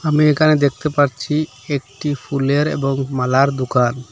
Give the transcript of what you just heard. আমি এখানে দেখতে পারছি একটি ফুলের এবং মালার দোকান।